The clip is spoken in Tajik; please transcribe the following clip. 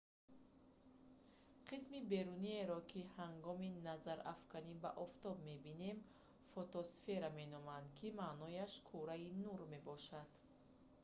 қисми беруниеро ки ҳангоми назарафканӣ ба офтоб мебинем фотосфера меноманд ки маънояш кураи нур мебошад